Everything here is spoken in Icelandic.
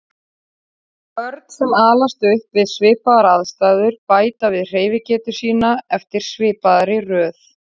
Börn sem alast upp við svipaðar aðstæður bæta við hreyfigetu sína eftir svipaðri röð.